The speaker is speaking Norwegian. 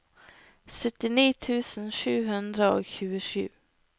syttini tusen sju hundre og tjuesju